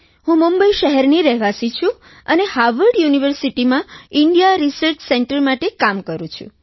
હું મુંબઇ શહેરની રહેવાસી છું અને હાવર્ડ યુનિવર્સિટિમાં ઇન્ડિયા રિસર્ચ સેન્ટર માટે કામ કરું છું